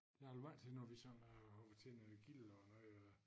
Jeg har da været til noget vi sådan har været til noget gilde og noget og